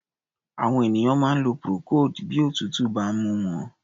Àwọn ènìyàn máa ń lo procold bí òtútù bá ń mú wọn.